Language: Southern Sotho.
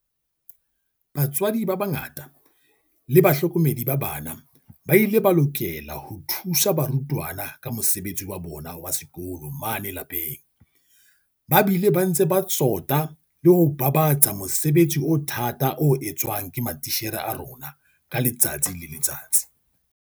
Batswadi ba bangata le bahlokomedi ba bana ba ile ba lokela ho thusa barutwana ka mosebetsi wa bona wa sekolo mane lapeng, ba bile ba ntse ba tsota le ho babatsa mosebetsi o thata o etswang ke matitjhere a rona ka letsatsi le letsatsi.